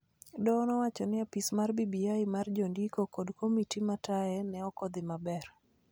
Doho nowacho ni apis mar BBI mar jondiko kod komiti ma taye ne ok odhi maber